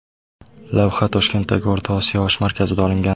Lavha Toshkentdagi O‘rta Osiyo osh markazida olingan.